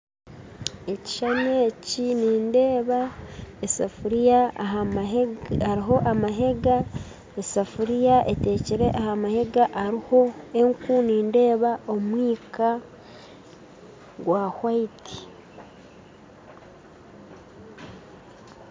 Ekishushani eki nindeeba esafuria ahamahega hariho amahega esaafuriya eteekire ahamahega hariho enku nindeeba omwika gurikwera .